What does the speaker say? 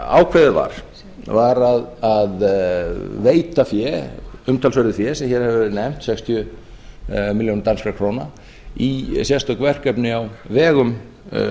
ákveðið var var að veita fé umtalsverðu fé sem hér hefur verið nefnt sextíu milljónir danskra króna í sérstök verkefni á vegum